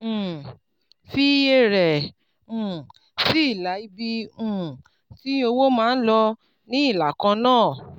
um fi iye rẹ̀ um sí ilà ibi um tí owó máa ń lọ ní ìlà kan náà